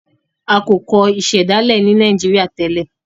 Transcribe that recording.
a ko kọ ìsèdálè ní Nàìjíríà tèlé.